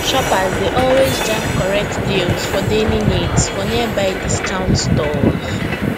shoppers dey always jam correct deals for daily needs for nearby discount stores